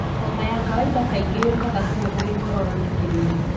Homa ya kawainda kaingĩ yũkaga hamwe na gĩkorora na kĩmira.